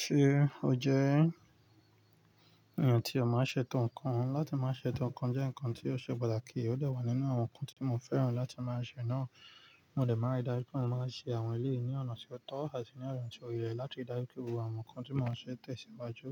Ṣé ó jẹ́ ẹ̀yàn tí ó máa ń ṣe to ǹkan? Láti máa ṣe to ǹkan jẹ́ ǹkan tí ó ṣe pàtàkì, ó dà wà nínú àwọn ǹkan tí mo fẹ́ràn láti máa ṣe náà. Mo dè máa ń ri dájú pé mo máa ṣe àwọn eléyìí ní ọ̀nà tó tọ́ àti ní ọ̀nà tí ó yẹ láti dájú pé gbogbo àwọn ǹkan tí mo ń ṣe tẹ̀síwájú.